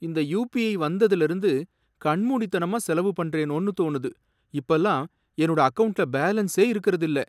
இந்த யுபிஐ வந்ததுல இருந்து கண்மூடித்தனமா செலவு பண்றேனோன்னு தோணுது, இப்பல்லாம் என்னோட அக்கவுண்ட்ல பேலன்ஸே இருக்கறது இல்ல.